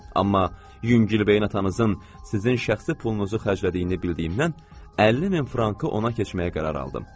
Amma yüngülbeyin atanızın sizin şəxsi pulunuzu xərclədiyini bildiyimdən, 50 min frankı ona keçməyə qərar aldım.